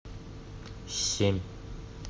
семь